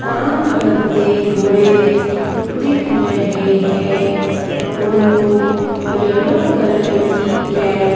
काम करते हुए दिख रहे हैं उनको येलो कलर की कैप --